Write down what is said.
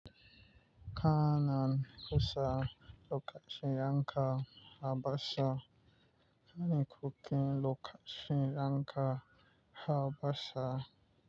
Kanan kusa lokacin yanka harbasa. Kani kukin lokacin yanka harbasa.